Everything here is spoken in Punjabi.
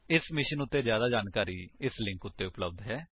ਇਸ ਮਿਸ਼ਨ ਉੱਤੇ ਜਿਆਦਾ ਜਾਣਕਾਰੀ ਇਸ ਲਿੰਕ ਉੱਤੇ ਉਪਲੱਬਧ ਹੈ